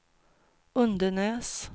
Undenäs